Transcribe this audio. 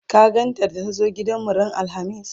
ka gan ta da ta zo gidanmu ran alhamis?